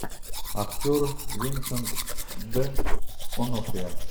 актер винсент д онофрио